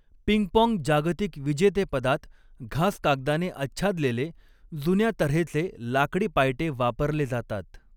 Ping pong जागतिक विजेतेपदात घासकागदाने आच्छादलेले जुन्या तऱ्हेचे लाकडी पायटे वापरले जातात.